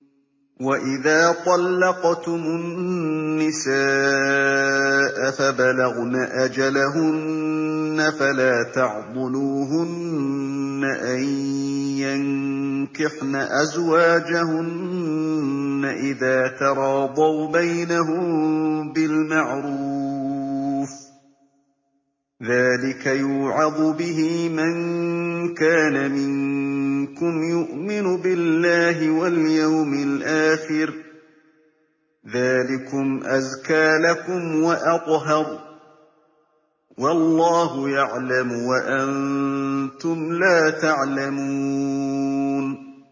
وَإِذَا طَلَّقْتُمُ النِّسَاءَ فَبَلَغْنَ أَجَلَهُنَّ فَلَا تَعْضُلُوهُنَّ أَن يَنكِحْنَ أَزْوَاجَهُنَّ إِذَا تَرَاضَوْا بَيْنَهُم بِالْمَعْرُوفِ ۗ ذَٰلِكَ يُوعَظُ بِهِ مَن كَانَ مِنكُمْ يُؤْمِنُ بِاللَّهِ وَالْيَوْمِ الْآخِرِ ۗ ذَٰلِكُمْ أَزْكَىٰ لَكُمْ وَأَطْهَرُ ۗ وَاللَّهُ يَعْلَمُ وَأَنتُمْ لَا تَعْلَمُونَ